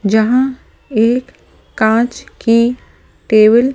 जहां एक कांच की टेबल --